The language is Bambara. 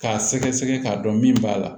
K'a sɛgɛsɛgɛ k'a dɔn min b'a la